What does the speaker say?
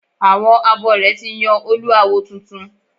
Àwọn abore ti yàn Olú awo tuntun